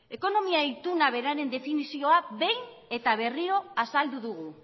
ekonomia ituna beraren definizioa behin eta berriro azaldu dugu